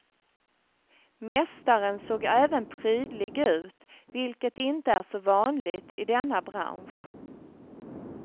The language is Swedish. Mästaren såg även prydlig ut, vilket inte är så vanligt i denna bransch.